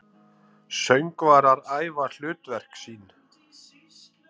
Söngvarar æfa hlutverk sín.